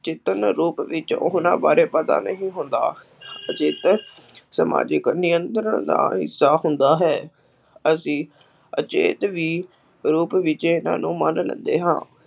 ਰੂਪ ਵਿੱਚ ਉਹਨਾ ਬਾਰੇ ਪਤਾ ਨਹੀਂ ਹੁੰਦਾ ਸਮਾਜਿਕ ਨਿਯੰਤਰਣ ਦਾ ਹਿੱਸਾ ਹੁੰਦਾ ਹੈ, ਅਸੀਂ ਵੀ ਰੂਪ ਵਿੱਚ ਇਹਨਾ ਨੂੰ ਮੰਨ ਲੈਂਦੇ ਹਾਂ।